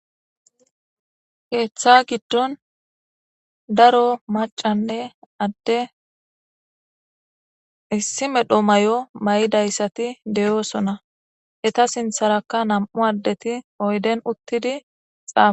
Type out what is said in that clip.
Keeththa giddon daro macanne adde issi medho may'o may'idayssati deyoosona eta sintharakka nam'u addeti oyden uttidi xaafa.